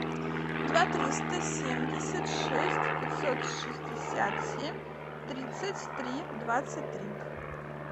два триста семьдесят шесть пятьсот шестьдесят семь тридцать три двадцать три